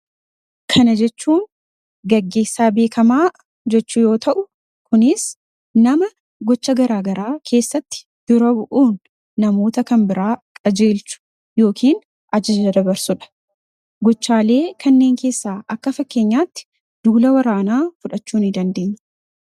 kana jechuun gaggesaa beekamaa jechuu yoo ta'u kunis nama gocha garaagaraa keessatti dura bu'uun namoota kan biraa qajeelchu yookin ajija dabarsuudha gochaalee kanneen keessaa akka fakkeenyaatti duula waraanaa fudhachuu ni dandeenye